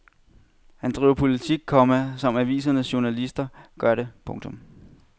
Han driver politik, komma som avisens journalister gør det. punktum